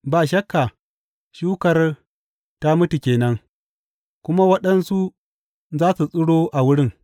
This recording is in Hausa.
Ba shakka shukar ta mutu ke nan, kuma waɗansu za su tsiro a wurin.